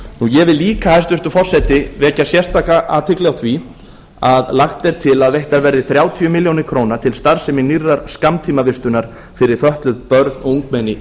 ég vil líka hæstvirtur forseti vekja sérstaka athygli á því að lagt er til að veittar verði þrjátíu ár til starfsemi nýrrar skammtímavistunar fyrir fötluð börn og ungmenni í reykjavík